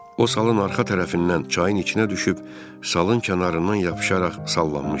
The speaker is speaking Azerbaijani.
O salın arxa tərəfindən çayın içinə düşüb, salın kənarından yapışaraq sallanmışdı.